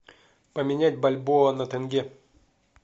поменять бальбоа на тенге